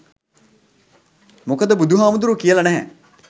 මොකද බුදු හාමුදුරුවෝ කියලා නැහැ